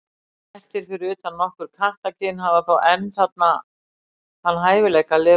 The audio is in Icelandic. Kettir, fyrir utan nokkur kattakyn, hafa þó enn þann hæfileika að lifa villtir.